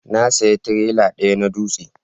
Na saya tirela daya na dutse